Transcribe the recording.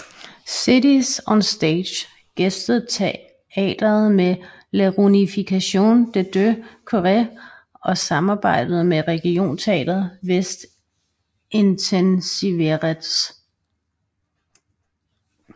Cities on Stage gæstede teatret med La Réunification des deux Corées og samarbejdet med Regionteater Väst intensiveredes